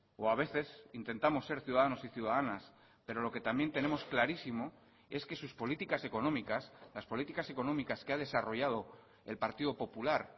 o a veces intentamos ser ciudadanos y ciudadanas pero lo que también tenemos clarísimo es que sus políticas económicas las políticas económicas que ha desarrollado el partido popular